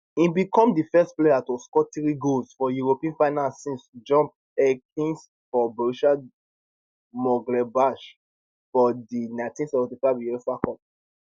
im become di first player to score three goals for european final since jupp heynckes for borussia monchengladbach for di 1975 uefa cup